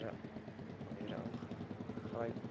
maniere ingegryp